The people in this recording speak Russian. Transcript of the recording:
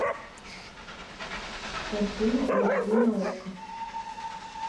картина эйч ди на окко